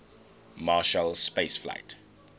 marshall space flight